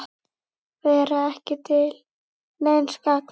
Vera ekki til neins gagns.